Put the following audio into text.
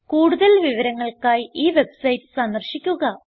കൂടുതൽ വിവരങ്ങൾക്കായി ഈ വെബ്സൈറ്റ് സന്ദർശിക്കുക